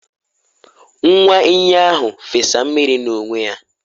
nwa enyí ahụ fesa mmiri n’onwe ya